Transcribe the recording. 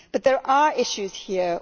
There are issues here.